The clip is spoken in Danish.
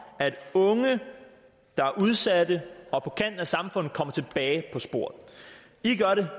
at unge der er udsatte og på kanten af samfundet kommer tilbage på sporet i gør det